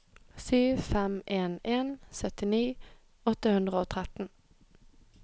sju fem en en syttini åtte hundre og tretten